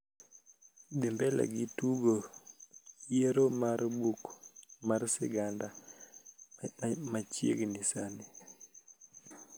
dhi mbele gi tugo yiero mar buk mar siganda ma chiegni sani